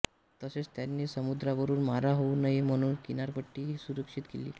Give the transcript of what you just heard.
तसेच त्यांनी समुद्रावरून मारा होऊ नये म्हणून किनारपट्टीही सुरक्षित केली